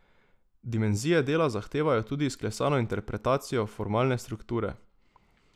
Dimenzije dela zahtevajo tudi izklesano interpretacijo formalne strukture.